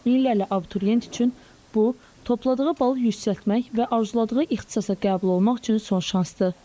Minlərlə abituriyent üçün bu topladığı balı yüksəltmək və arzuladığı ixtisasa qəbul olmaq üçün son şansdır.